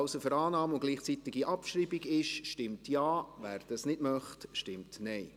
Wer für Annahme und gleichzeitige Abschreibung ist, stimmt Ja, wer das nicht möchte, stimmt Nein.